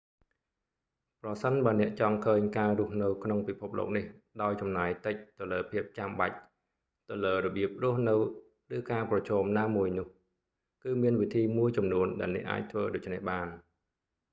ប្រសិនបើអ្នកចង់ឃើញការរស់នៅក្នុងពិភពលោកនេះដោយចំណាយតិចទៅលើភាពចំបាច់ ទៅលើរបៀបរស់នៅ ឬការប្រឈមណាមួយ នោះគឺមានវិធីមួយចំនួនដែលអ្នកអាចធ្វើដូច្នេះបាន